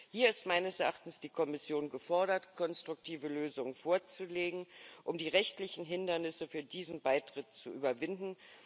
Hier ist meines Erachtens die Kommission gefordert, konstruktive Lösungen vorzulegen, um die rechtlichen Hindernisse für diesen Beitritt zu überwinden.